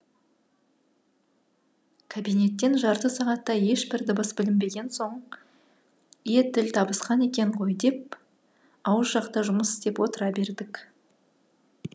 кабинеттен жарты сағаттай ешбір дыбыс білінбеген соң е тіл табысқан екен ғой деп ауыз жақта жұмыс істеп отыра бердік